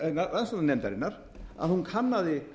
rannsóknarnefndarinnar að hún kannaði